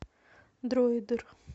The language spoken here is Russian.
дроидер